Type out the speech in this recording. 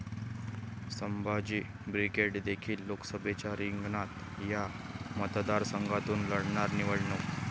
Sambhaji brigade देखील लोकसभेच्या रिंगणात, 'या' मतदारसंघातून लढणार निवडणूक